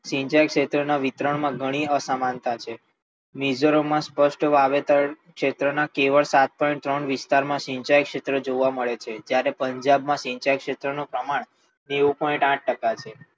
સિંચાઈ ક્ષેત્રના વિતરણમાં ઘણી અસમાનતા છે ખેતરોમાં સ્પષ્ટ વાવેતર ખેતરના કેવા સાતમાં પણ સિંચાઈ ક્ષેત્ર જોવા મળે છે તેમાં પણ પંજાબમાં સિંચાઈ ક્ષેત્રનો પ્રમાણ નેવું પોઇન્ટઆઠ ટકા છે.